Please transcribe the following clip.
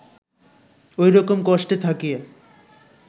ঐরকম কষ্টে থাকিয়া